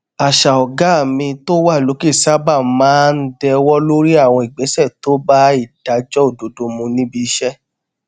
àṣà ọgá mi tó wà lókè sábà máa ń dẹwó lórí àwọn ìgbésẹ tó bá ìdájọ òdodo mu níbi iṣẹ